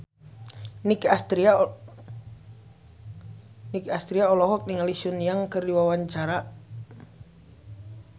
Nicky Astria olohok ningali Sun Yang keur diwawancara